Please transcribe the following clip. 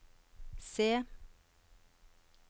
C